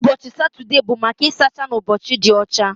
Ụbọchị Satọde bụ maka ịsacha na ụbọchị ịdị ọcha